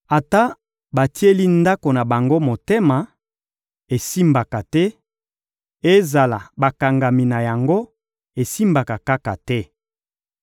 Ata batieli ndako na bango motema, esimbaka te; Ezala bakangami na yango, esimbaka kaka te.